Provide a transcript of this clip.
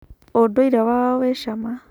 ũndũire wao wĩ cama.